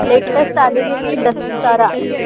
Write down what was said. latest आलेली ती दशहरा